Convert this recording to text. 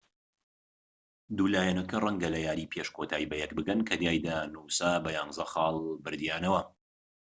دوو لایەنەکە ڕەنگە لە یاری پێش کۆتایی بەیەک بگەن کە تیایدا نووسا بە 11 خاڵ بردیانەوە